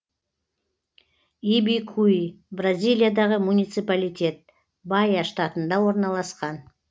ибикуи бразилиядағы муниципалитет баия штатында орналасқан